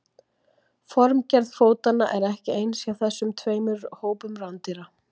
Formgerð fótanna er ekki eins hjá þessum tveimur hópum rándýra.